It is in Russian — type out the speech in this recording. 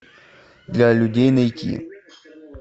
для людей найти